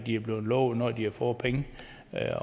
er blevet lovet når de har fået penge